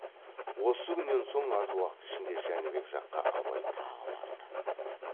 осы күннен соң аз уақыт ішінде жәнібек жаққа абай тағы барды